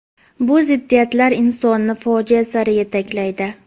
Bu ziddiyatlar insonni fojia sari yetaklaydi.